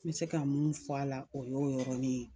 N bɛ se ka mun fɔ a la o y'o yɔrɔni ye.